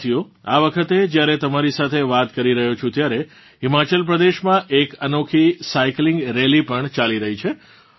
સાથીઓ આ વખતે જ્યારે તમારી સાથે વાત કરી રહ્યો છું ત્યારે હિમાચલ પ્રદેશમાં એક અનોખી સાયકલિંગ રેલી પણ ચાલી રહી છે